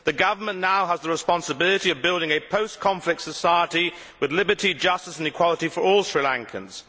The government now has the responsibility of building a post conflict society with liberty, justice and equality for all Sri Lankans.